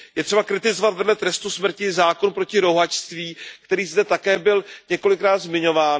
Je třeba kritizovat vedle trestu smrti zákon proti rouhačství, který zde také byl několikrát zmiňován.